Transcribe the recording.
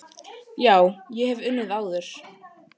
Já, ég hef unnið áður.